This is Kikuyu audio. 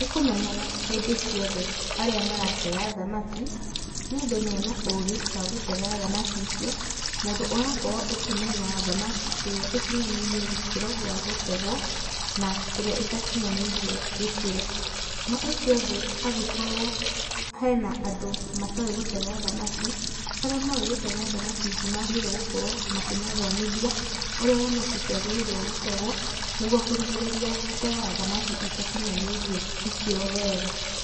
Nĩkũmenyenyaga hĩndĩ ciothe arĩa maratega thamaki nĩ andũ mena ũgĩ wa gũtega thamaki icio mũndũ ũrakorwo akĩmenya thakamaki irĩa ĩkĩnyinyanĩirie gĩkĩro gĩa gũtegwo na ĩrĩa ĩtakĩnyanĩirie gĩkĩro na ũcio ũngĩ agĩkorwo hena andũ matoĩ gũtega thamaki arĩa moĩ gũtega thamaki nĩmagĩrĩirwo gũkorwo makĩmathomithia ũrĩa thamakiciagĩrĩirwo gũtegwo nĩgũo kũgirĩrĩria gũtega thamakĩ ĩtakinyanĩirie ikĩro wega.